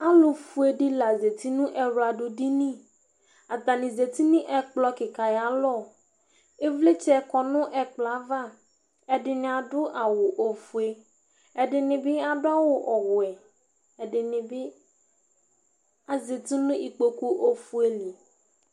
Alʋfue ɖɩ la zati nʋ ɛwlaɖʋɖiniAta nɩ zati nʋ ɛƙplɔ ƙɩƙa aƴʋ alɔƖvlɩtsɛ ƙɔ nʋ ɛƙplɔ ava ;ɛɖɩnɩ aɖʋ awʋ fue, ɛɖɩ nɩ bɩ aɖʋ awʋ wɛ, ɛɖɩ nɩ bɩ azati nʋ ƙpoƙu fue li